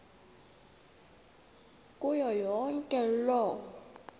kuyo yonke loo